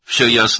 Hər şey aydındır?